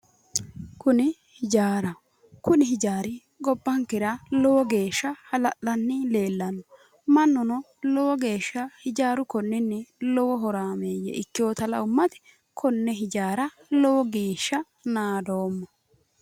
Kuni ijaaraho kuni ijaari gobbankera lowo geeshsha hala'lanni leellanno mannuno lowo geeshsha ijaaru konninni lowo horaameeyye ikkeyota la"ummati konne ijaara lowo geeshsha naadoomma